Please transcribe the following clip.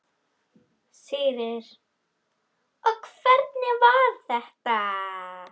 Sigríður: Og hvernig var þetta?